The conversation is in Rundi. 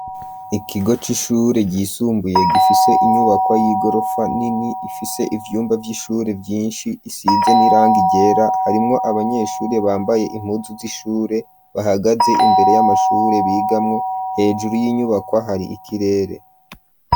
Ikigo c'ishure ryisumbuye gifise inyubakwa y'igorofa nini, ifise ivyumba vy'ishure vyinshi , isize n'irangi ryera , abanyeshuri bambaye impuzu z'ishure , bahagaze imbere y'amashure bigamwo , hejuru y'inyubako hari ikirere.